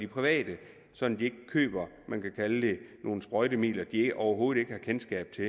private så de ikke køber nogle sprøjtemidler de overhovedet ikke har kendskab til